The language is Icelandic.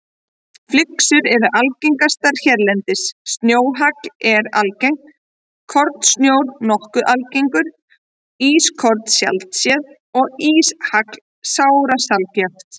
Flyksur eru algengastar hérlendis, snjóhagl er algengt, kornsnjór nokkuð algengur, ískorn sjaldséð og íshagl sárasjaldgæft.